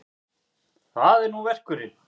Það er nú verkurinn.